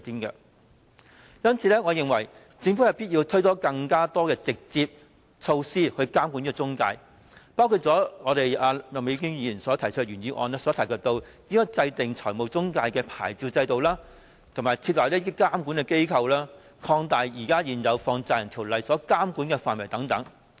因此，我認為政府有必要推行更多直接措施監管中介公司，包括麥美娟議員在原議案中提及的設立財務中介牌照制度、設立監管機構、擴大現行《放債人條例》的監管範圍等。